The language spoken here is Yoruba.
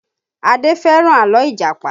Adé fẹ́ràn àlọ́ Ìjàpá